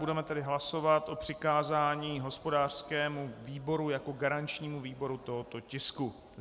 Budeme tedy hlasovat o přikázání hospodářskému výboru jako garančnímu výboru tohoto tisku.